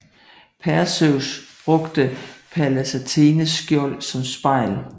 Perseus brugte Pallas Athenes skjold som spejl